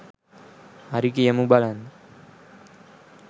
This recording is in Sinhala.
හරි කියමු බලන්න